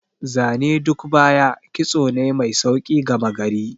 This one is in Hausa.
Zane duk baya, kitso ne mai sauƙi gama gari.